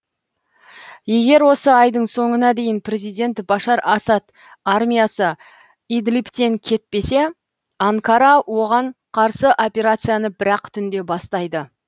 егер осы айдың соңына дейін президент башар асад армиясы идлибтен кетпесе анкара оған қарсы операцияны бір ақ түнде бастайды